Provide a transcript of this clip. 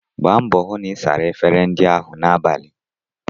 Gba mbọ hụ na ị sara efere ndị ahụ n'abalị!